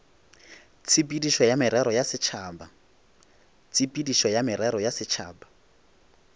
tshepedišo ya merero ya setšhaba